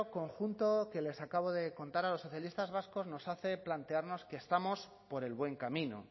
conjunto que les acabo de contar a los socialistas vascos nos hace plantearnos que estamos por el buen camino